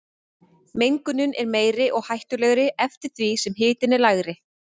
Mengunin er meiri og hættulegri eftir því sem hitinn er lægri.